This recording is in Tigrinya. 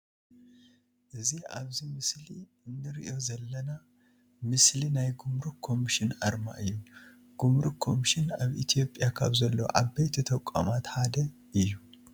እዚ ኣብዚ ምስሊ እንርእዮ ዘለና ምስሊ ናይ ጉምሩክ ኮሚሽን ኣርማ እዩ። ጉምሩክ ኮምሽን ኣብ ኢትዮጵያ ካብ ዘለው ዓበይቲ ተቋማት ሓደ እዩ ።